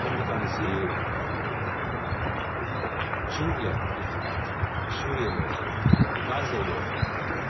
Onlardan bir tanəsi Çin ilə irtibat, Suriya ilə irtibat, Qazla ilə irtibat.